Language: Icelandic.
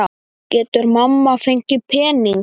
Getur mamma fengið pening?